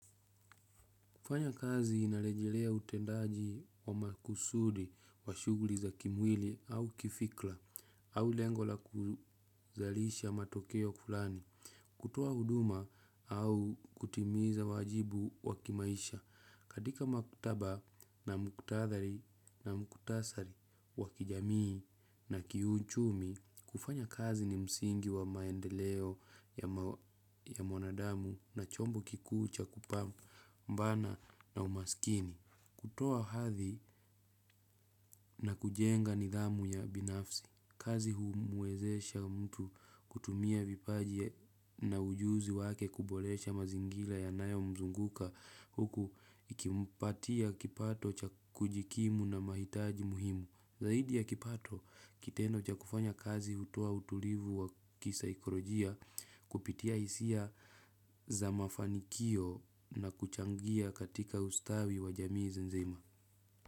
Kufanya kazi inarejelea utendaji wa makusudi wa shughuli za kimwili au kifikra au lengo la kuzalisha matokeo fulani. Kutoa huduma au kutimiza wajibu wa kimaisha. Katika maktaba na muktadhari na muktasari wa kijamii na kiuchumi kufanya kazi ni msingi wa maendeleo ya mwanadamu na chombo kikuu cha kupambana na umaskini kutoa hadhi na kujenga nidhamu ya binafsi. Kazi humwezesha mtu kutumia vipaji na ujuzi wake kuboresha mazingira yanayo mzunguka huku ikimpatia kipato cha kujikimu na mahitaji muhimu. Zaidi ya kipato kitendo cha kufanya kazi hutoa utulivu wa kisaikolojia kupitia hisia za mafanikio na kuchangia katika ustawi wa jamii nzima.